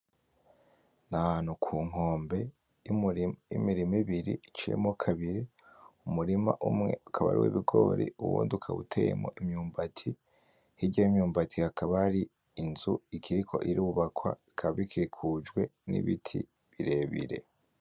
Ni ahantu ku nkombe y'imirima ibiri iciyemwo kabiri. Umurima umwe ukaba ari uw'ibigori, uwundi ukaba uteyemwo imyumbati. Hirya y'imyumbati hakaba hari inzu ikiriko irubakwa ikaba ikikujwe n'ibiti birebire.